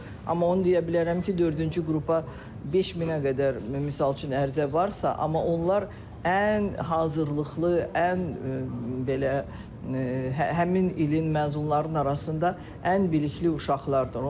amma onu deyə bilərəm ki, dördüncü qrupa 5000-ə qədər misal üçün ərizə varsa, amma onlar ən hazırlıqlı, ən belə həmin ilin məzunlarının arasında ən bilikli uşaqlardır.